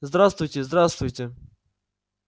здравствуйте здравствуйте